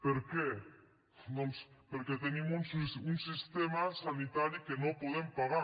per què doncs perquè tenim un sistema sanitari que no podem pagar